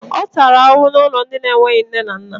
Ọ tàrà ahụhụ n'ụlọ ndị enweghị nne na nna